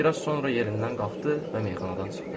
Bir az sonra yerindən qalxdı və meyxanadan çıxdı.